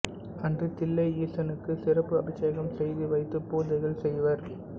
அன்று தில்லை ஈசனுக்கு சிறப்பு அபிஷேகம் செய்துவைத்து பூஜைகள் செய்வர்